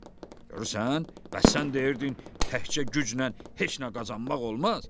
Ata, görürsən, bəs sən deyirdin təkcə güclə heç nə qazanmaq olmaz?